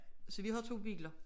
Så vi har 2 biler